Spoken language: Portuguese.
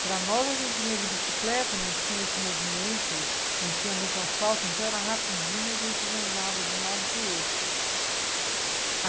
Para nós a gente vinha de bicicleta, não tinha esse movimento, não tinha muito assalto, então era rapidinho, a gente zanzava de um lado para o outro.